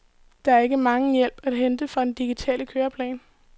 Der er ikke megen hjælp at hente fra den digitale køreplan.